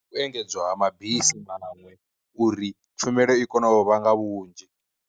U engedzwa ha mabisi maṅwe uri tshumelo i kone u vha nga vhunzhi.